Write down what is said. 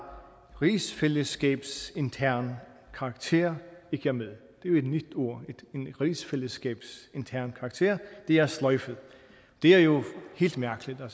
rigsfællesskabsintern karakter ikke er med det er jo et nyt ord rigsfællesskabsintern karakter det er sløjfet det er jo helt mærkeligt der